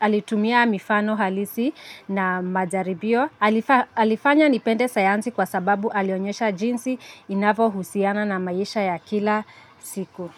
alitumia mifano halisi na majaribio. Alifanya nipende sayansi kwa sababu alionyesha jinsi inavyohusiana na maisha ya kila siku.